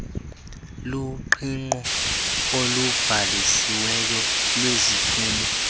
luqingqo olubhalisiweyo lweziphumo